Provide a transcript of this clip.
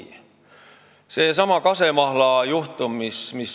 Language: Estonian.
Võtame sellesama kasemahla juhtumi.